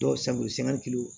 Dɔw san bolo